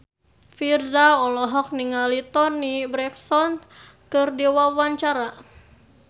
Virzha olohok ningali Toni Brexton keur diwawancara